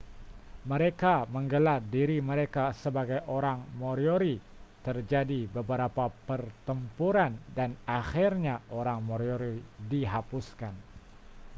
mereka menggelar diri mereka sebagai orang moriori terjadi beberapa pertempuran dan akhirnya orang moriori dihapuskan